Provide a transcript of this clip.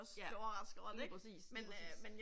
Ja lige præcis lige præcis